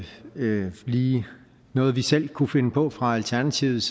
lige noget vi selv kunne finde på fra alternativets